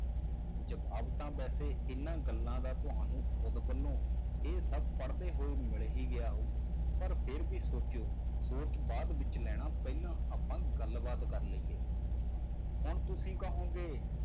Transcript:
ਜਵਾਬ ਤਾਂ ਵੈਸੇ ਇਹਨਾਂ ਗੱਲਾਂ ਦਾ ਤੁਹਾਨੂੰ ਖੁੱਦ ਵੱਲੋਂ ਇਹ ਸਭ ਪੜ੍ਹਦੇ ਹੋਏ ਮਿਲ ਹੀ ਗਿਆ ਹੋਊ, ਪਰ ਫਿਰ ਵੀ ਸੋਚਿਓ, ਸੋਚ ਬਾਅਦ ਵਿੱਚ ਲੈਣਾ ਪਹਿਲਾਂ ਆਪਾਂ ਗੱਲਬਾਤ ਕਰ ਲਈਏ ਹੁਣ ਤੁਸੀਂ ਕਹੋਗੇ